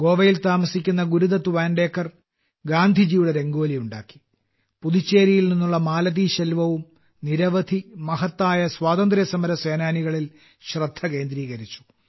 ഗോവയിൽ താമസിക്കുന്ന ഗുരുദത്ത് വാൻഡേക്കർ ഗാന്ധിജിയുടെ രംഗോലി ഉണ്ടാക്കി പുതുച്ചേരിയിൽ നിന്നുള്ള മാലതീശെൽവവും നിരവധി മഹത്തായ സ്വാതന്ത്ര്യസമര സേനാനികളിൽ ശ്രദ്ധ കേന്ദ്രീകരിച്ചു